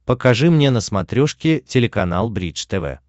покажи мне на смотрешке телеканал бридж тв